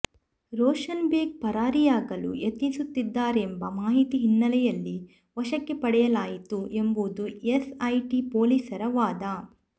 ರೋಷನ್ಬೇಗ್ ಪರಾರಿಯಾಗಲು ಯತ್ನಿಸುತ್ತಿದ್ದಾರೆಂಬ ಮಾಹಿತಿ ಹಿನ್ನೆಲೆಯಲ್ಲಿ ವಶಕ್ಕೆ ಪಡೆಯಲಾಯಿತು ಎಂಬುದು ಎಸ್ಐಟಿ ಪೊಲೀಸರ ವಾದ